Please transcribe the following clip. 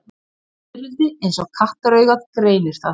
Fiðrildi eins og kattaraugað greinir það.